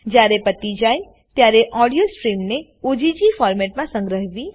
જયારે પતી જાય ત્યારે ઓડીઓ સ્ટ્રીમને ઓગ ફોરમેટમાં સંગ્રહવી